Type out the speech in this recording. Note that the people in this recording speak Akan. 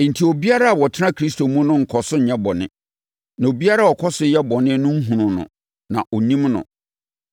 Enti, obiara a ɔtena Kristo mu no nkɔ so nyɛ bɔne. Na obiara a ɔkɔ so yɛ bɔne no nhunuu no, na ɔnnim no.